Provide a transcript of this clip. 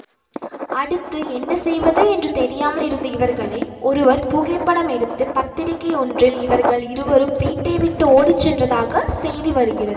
அடுத்து என்ன செய்வது என்று தெரியாமல் இருந்த இவர்களை ஒருவர் புகைப்படம் எடுத்து பத்திரிக்கை ஒன்றில் இவர்கள் இருவரும் வீட்டை விட்டு ஓடிச்சென்றதாக செய்தி வருகிறது